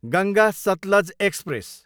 Ganga Sutlej express